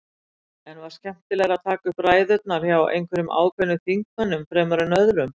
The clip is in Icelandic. En var skemmtilegra að taka upp ræðurnar hjá einhverjum ákveðnum þingmönnum fremur en öðrum?